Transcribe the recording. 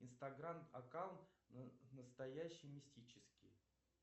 инстаграм аккаунт настоящий мистический